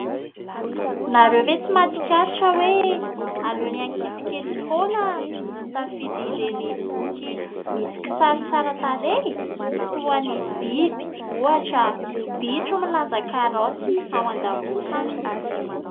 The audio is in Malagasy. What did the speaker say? Nareo ve tsy mahatsikaritra hoe aleo ny ankizy kely foana misafidy ireny boky misy kisary tsara tarehy, toa ny biby ohatra bitro milanja karaoty ao an-damosiny.